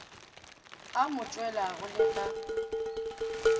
a mo tshwelago le ka